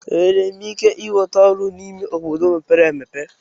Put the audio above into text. Enwere m ike ịnweta ọrụ n'ime obodo mepere emepe?